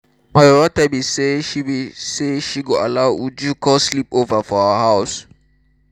my mama tell me say she me say she go allow uju come sleep over for our house